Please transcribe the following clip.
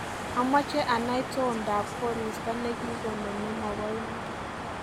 Amache anai toondop koristo negigono nemabo iman